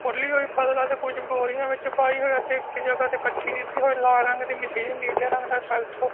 ਕੁਛ ਬੋਰੀਆਂ ਵਿੱਚ ਪਾਈ ਹੋਈ ਅਤੇ ਇੱਕ ਜਗ੍ਹਾ ਤੇ ਇਕੱਠੀ ਕੀਤੀ ਹੋਈ ਲਾਲ ਰੰਗ ਦੀ ਮਸ਼ੀਨ ਨੀਲੇ ਰੰਗ ਦਾ ਟਰੈਕਟਰ --